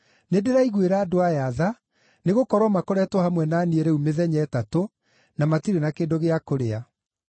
“Nĩndĩraiguĩra andũ aya tha Nĩgũkorwo makoretwo hamwe na niĩ rĩu mĩthenya ĩtatũ na matirĩ na kĩndũ gĩa kũrĩa.